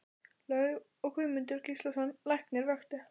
Laug og Guðmundur Gíslason læknir vöktu